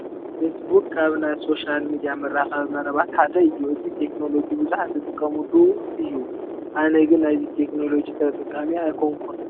Facebook ካብ ናይ ሶሻል ሚዲያ መራኸቢ መረባት ሓደ እዩ፡፡ እዚ ቴክኖሎጂ ብዙሓት ዝጥቀሙሉ እዩ፡፡ ኣነ ግን ናይዚ ቴክኖሎጂ ተጠቃሚ ኣይኮንኩን፡፡